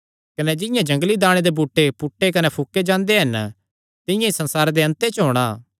कने जिंआं जंगली दाणे दे बूटे पुटे कने फूके जांदे हन तिंआं ई संसारे दे अन्त च होणा